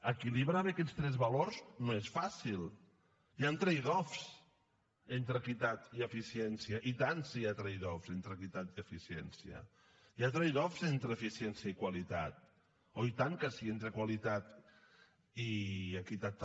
equilibrar bé aquests tres valors no és fàcil hi han trade off entre equitat i eficiència i tant si hi ha trade offtrade off entre eficiència i qualitat oh i tant que sí entre qualitat i equitat també